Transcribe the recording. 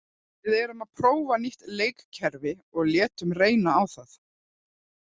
Við erum að prófa nýtt leikkerfi og létum reyna á það.